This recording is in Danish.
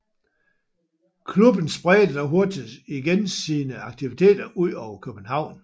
Klubben spredte dog hurtigt igen sine aktiviteter ud over København